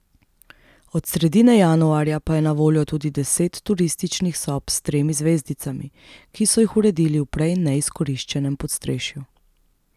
Od sredine januarja pa je na voljo tudi deset turističnih sob s tremi zvezdicami, ki so jih uredili v prej neizkoriščenem podstrešju.